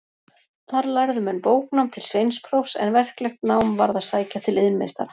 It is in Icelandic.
Þar lærðu menn bóknám til sveinsprófs, en verklegt nám varð að sækja til iðnmeistara.